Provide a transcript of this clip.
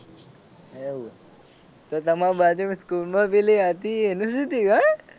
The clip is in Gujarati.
એવું તો તમાર બાજુમાં સ્કૂલ માં પેલી હતી એનું શું થયું હે.